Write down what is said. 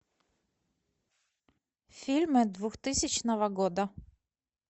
фильмы двухтысячного года